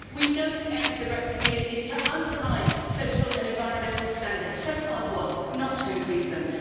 We know the aim of the Brexiteers is to undermine social and environmental standards, so hard won, not to increase them.